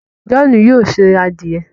John yóò se adiẹ